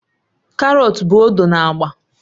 Karọt bụ odo na agba